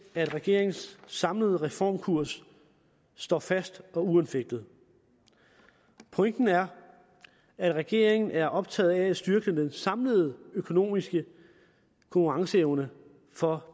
regeringens samlede reformkurs står fast og uanfægtet pointen er at regeringen er optaget af at styrke den samlede økonomiske konkurrenceevne for